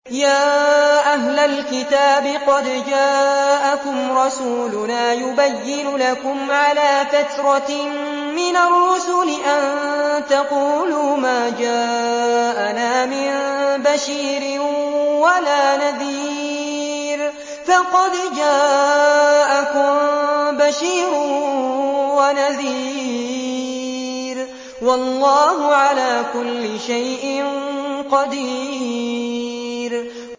يَا أَهْلَ الْكِتَابِ قَدْ جَاءَكُمْ رَسُولُنَا يُبَيِّنُ لَكُمْ عَلَىٰ فَتْرَةٍ مِّنَ الرُّسُلِ أَن تَقُولُوا مَا جَاءَنَا مِن بَشِيرٍ وَلَا نَذِيرٍ ۖ فَقَدْ جَاءَكُم بَشِيرٌ وَنَذِيرٌ ۗ وَاللَّهُ عَلَىٰ كُلِّ شَيْءٍ قَدِيرٌ